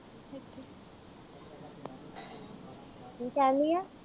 ਕੀ ਕਹਿੰਦੀ ਆ।